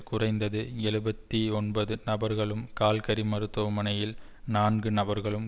குறைந்தது எழுபத்தி ஒன்பது நபர்களும் கால்கரி மருத்துவமனையில் நான்கு நபர்களும்